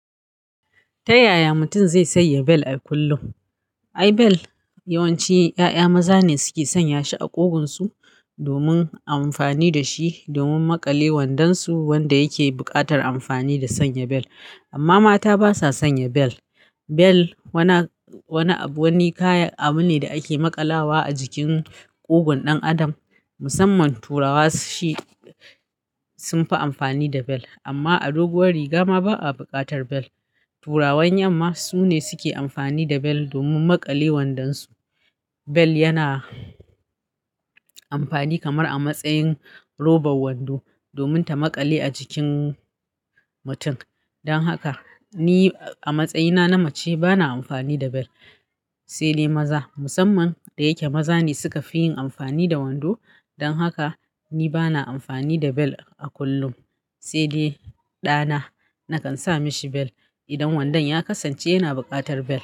Ta yaya mutum zai sanya bel a kullum? Ai bel yawanci ƴaƴa maza ne suke sanya shi a ƙugunsu domin amfani da shi domin maƙale wandansu wanda yake buƙatar amfani da sanya bel. Amma mata basa sanya bel. Bel wani abu ne da ake maƙalawa a jikin ƙugun ɗan adam. Musamman Turawa shi sunfi amfani da bel amma a doguwar riga ma ba a buƙatar bel. Turawan yamma su ne suke amfani da bel domin maƙale wandansu. Bel yana amfani kamar a matsayin roban wando domin ta maƙale a jikin mutum. Dan haka ni a matsayina na mace bana amfani da bel. Sai dai maza musamman da yake maza ne suka fi yin amfani da wando. Dan haka ni bana amfani da bel a kullum. Sai dai ɗana nakan sa mishi bel idan wandon ya kasance yana buƙatar bel.